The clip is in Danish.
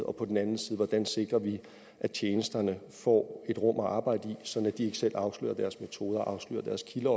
og på den anden side sikrer at tjenesterne får et rum at arbejde i sådan at de ikke selv afslører deres metoder afslører deres kilder